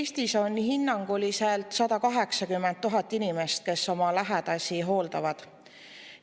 Eestis on hinnanguliselt 180 000 inimest, kes oma lähedasi hooldavad.